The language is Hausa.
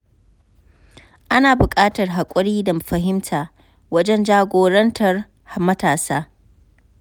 Ana buƙatar haƙuri da fahimta wajen jagorantar matasa.